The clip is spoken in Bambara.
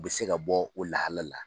U bɛ se ka bɔ o lahalala.